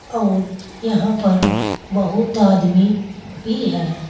और यहां पर बहुत आदमी भी हैं।